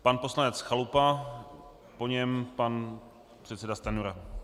Pan poslanec Chalupa, po něm pan předseda Stanjura.